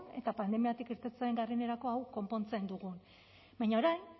eta pandemiatik irteten garenerako hau konpontzen dugun baina orain